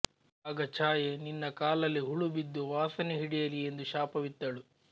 ಆಗ ಛಾಯೆ ನಿನ್ನ ಕಾಲಲ್ಲಿ ಹುಳುಬಿದ್ದು ವಾಸನೆ ಹಿಡಿಯಲಿ ಎಂದು ಶಾಪವಿತ್ತಳು